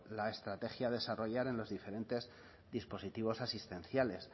la estrategia a desarrollar en los diferentes dispositivos asistenciales